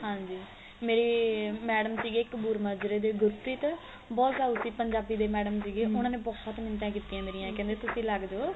ਹਾਂਜੀ ਮੇਰੀ madam ਸੀਗੇ ਇੱਕ ਹੋਰ ਮਾਜਰੇ ਦੇ ਗੁਰਪ੍ਰੀਤ ਬਹੁਤ ਸਾਉ ਸੀ ਪੰਜਾਬੀ ਦੇ madam ਸੀਗੇ ਉਹਨਾ ਨੇ ਬਹੁਤ ਮਿੰਟਾ ਕੀਤੀਆ ਮੇਰੀਆਂ ਕਹਿੰਦੇ ਤੁਸੀਂ ਲੱਗ ਜੋ